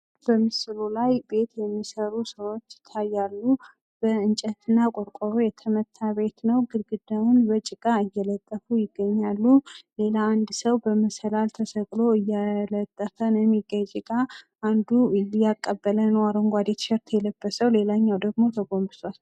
ቤት ከቁሳዊ ነገሮች በላይ የሆነ የውስጣዊ ሰላም ምንጭ ሲሆን፣ መኖሪያ ቤት በቀላሉ የሚኖርበትን ቦታ ያመላክታል። አንዱ የባለቤቶችን ስሜት የሚገልጽ ሲሆን፣ ሌላው ተግባራዊ ፍላጎትን ያሟላል።